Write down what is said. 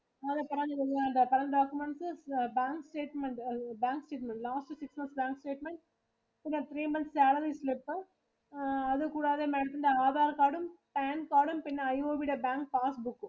current documents bank statement bank last six months bank statement, three months salary slip, അത് കൂടാതെ Madam ത്തിന്റെ Aadhar card ഉം, Pan card ഉം, പിന്നെ IOB യുടെ Bank Pass Book ഉം